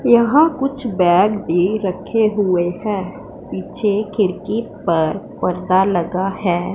यहां कुछ बैग भी रखे हुए हैं पीछे खिड़की पर पर्दा लगा है।